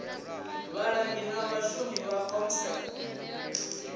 vhalangi na vhashumi vha comsec